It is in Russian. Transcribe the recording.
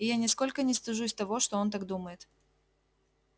и я нисколько не стыжусь того что он так думает